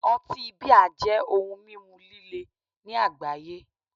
Otí 'Beer' jẹ́ ohun mímu líle ní àgbáyé